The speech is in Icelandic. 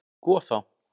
Sko þá!